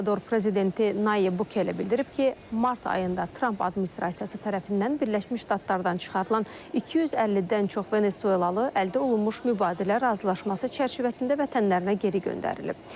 El Salvador prezidenti Nəyib Bukele bildirib ki, mart ayında Tramp administrasiyası tərəfindən Birləşmiş Ştatlardan çıxarılan 250-dən çox Venezuelalı əldə olunmuş mübadilə razılaşması çərçivəsində vətənlərinə geri göndərilib.